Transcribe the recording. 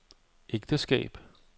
ægteskab